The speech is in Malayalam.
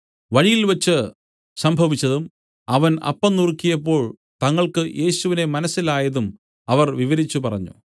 വഴിയിൽവച്ച് സംഭവിച്ചതും അവൻ അപ്പം നുറുക്കിയപ്പോൾ തങ്ങൾക്കു യേശുവിനെ മനസ്സിലായതും അവർ വിവരിച്ചു പറഞ്ഞു